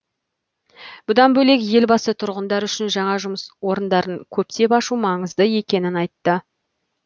бұдан бөлек елбасы тұрғындар үшін жаңа жұмыс орындарын көптеп ашу маңызды екенін айтты